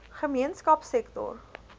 gemeenskapsektor